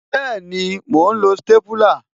Bẹẹni, mo ń lo stépúlà